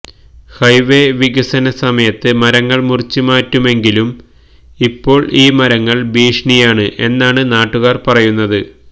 highway വികസന സമയത്ത് മരങ്ങള് മുറിച്ച് മാറ്റുമെങ്കിലും ഇപ്പോള് ഈ മരങ്ങള് ഭീഷണിയാണ് എന്നാണ് നാട്ടുകാര് പറയുന്നത്